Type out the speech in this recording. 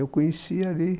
Eu conheci ali.